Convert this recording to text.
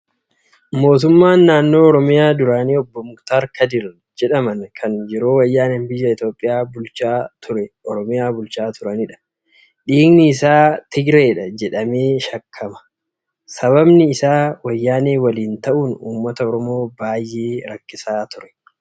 Mootummaan naannoo Oromiyaa duraanii obbo Muktar Kadir jedhaman kan yeroo wayyaaneen biyya Itoophiyaa bulchaa turte Oromiyaa bulchaa turanidha. Dhiigni isaa Tigiraayi jedhamee shakkama. Sababni isaa wayyaanee waliin ta'uun uummata Oromoo baay'ee rakkisaa ture.